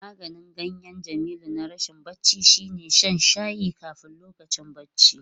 Maganin ganyen Jamilu na rashin bacci shine shan shayin kafin lokacin bacci.